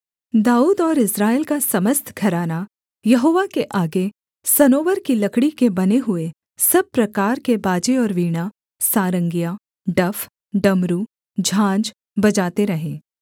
दाऊद और इस्राएल का समस्त घराना यहोवा के आगे सनोवर की लकड़ी के बने हुए सब प्रकार के बाजे और वीणा सारंगियाँ डफ डमरू झाँझ बजाते रहे